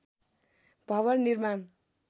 भवन निर्माण